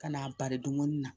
Ka n'a bari duguni na